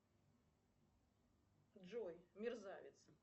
джой мерзавец